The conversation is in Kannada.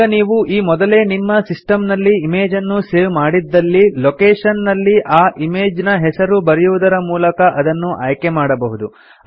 ಈಗ ನೀವು ಈ ಮೊದಲೇ ನಿಮ್ಮ ಸಿಸ್ಟಮ್ ನಲ್ಲಿ ಇಮೇಜನ್ನು ಸೇವ್ ಮಾಡಿದ್ದಲ್ಲಿ ಲೊಕೇಷನ್ ನಲ್ಲಿ ಆ ಇಮೇಜ್ ನ ಹೆಸರು ಬರೆಯುವುದರ ಮೂಲಕ ಅದನ್ನು ಆಯ್ಕೆ ಮಾಡಬಹುದು